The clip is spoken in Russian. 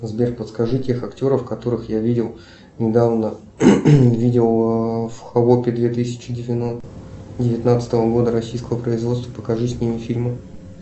сбер подскажи тех актеров которых я видел недавно видел в холопе две тысячи девятнадцатого года российского производства покажи с ними фильмы